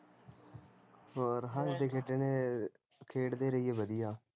ਹੋਰ ਹੱਸਦੇ ਖੇਡਣ, ਖੇਡਦੇ ਰਹੇ ਵਧੀਆ